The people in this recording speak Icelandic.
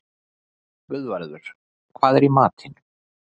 Guðvarður, hvað er í matinn?